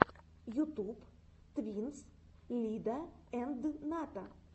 ютуб твинс лидаэндната